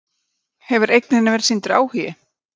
Erla: Hefur eigninni verið sýndur áhugi?